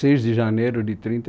seis de janeiro de trinta